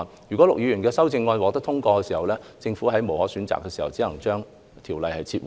如果陸議員的修正案獲得通過，政府在別無選擇下，只能將《條例草案》撤回。